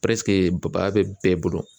ba ba bɛ bɛɛ bolo.